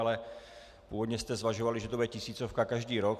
Ale původně jste zvažovali, že to bude tisícovka každý rok.